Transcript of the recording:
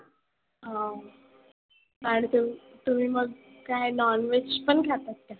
हं तुम्ही मग काय non veg पण खाता काय?